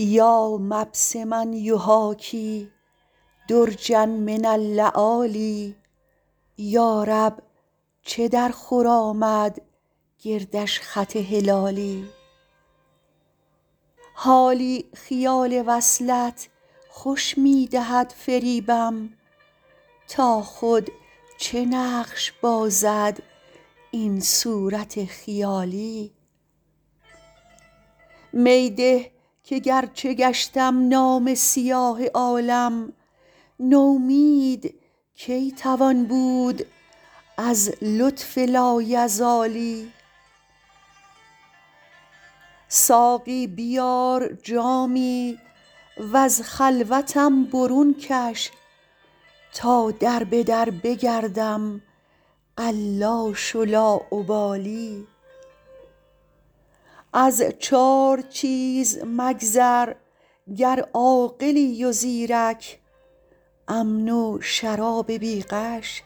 یا مبسما یحاکی درجا من اللآلی یا رب چه درخور آمد گردش خط هلالی حالی خیال وصلت خوش می دهد فریبم تا خود چه نقش بازد این صورت خیالی می ده که گرچه گشتم نامه سیاه عالم نومید کی توان بود از لطف لایزالی ساقی بیار جامی و از خلوتم برون کش تا در به در بگردم قلاش و لاابالی از چار چیز مگذر گر عاقلی و زیرک امن و شراب بی غش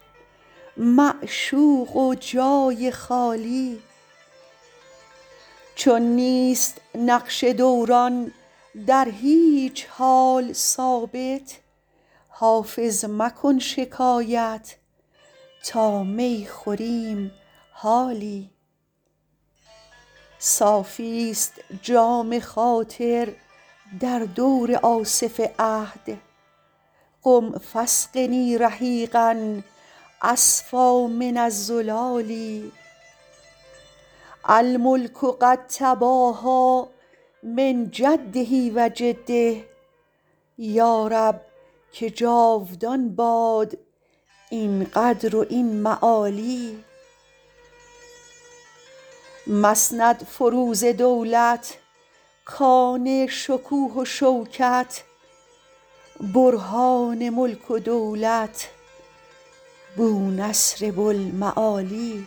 معشوق و جای خالی چون نیست نقش دوران در هیچ حال ثابت حافظ مکن شکایت تا می خوریم حالی صافیست جام خاطر در دور آصف عهد قم فاسقني رحیقا أصفیٰ من الزلال الملک قد تباهیٰ من جده و جده یا رب که جاودان باد این قدر و این معالی مسندفروز دولت کان شکوه و شوکت برهان ملک و ملت بونصر بوالمعالی